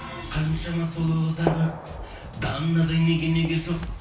қаншама сұлу қыздар көп данадай неге неге жоқ